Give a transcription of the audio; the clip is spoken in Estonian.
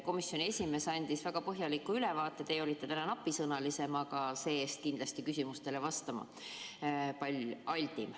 Komisjoni esimees andis väga põhjaliku ülevaate, teie olite täna napisõnalisem, aga see-eest kindlasti altim küsimustele vastama.